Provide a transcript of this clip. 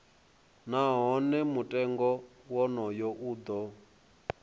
nahone mutengo wonoyo u do